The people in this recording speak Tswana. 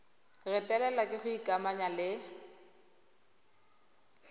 retelelwa ke go ikamanya le